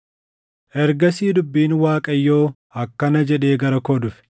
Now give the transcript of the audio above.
Ergasii dubbiin Waaqayyoo akkana jedhee gara koo dhufe: